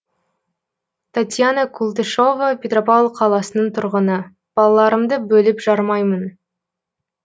татьяна култышева петропавл қаласының тұрғыны балаларымды бөліп жармаймын